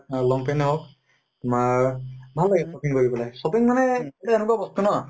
long pant য়ে হৌক তোমাৰ ভাল লাগে shopping কৰি পেলাই, shopping মানে এনেকুৱা বস্তু ন